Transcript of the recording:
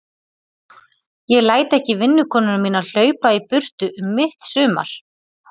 Ég læt ekki vinnukonuna mína hlaupa í burtu um mitt sumar.